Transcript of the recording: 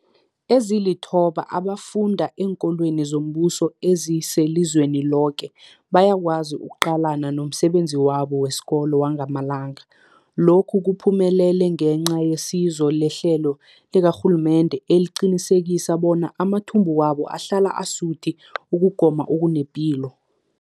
Ezilithoba abafunda eenkolweni zombuso ezingelizweni loke bayakwazi ukuqalana nomsebenzi wabo wesikolo wangamalanga. Lokhu kuphumelele ngenca yesizo lehlelo likarhulumende eliqinisekisa bona amathumbu wabo ahlala asuthi ukugoma okunepilo.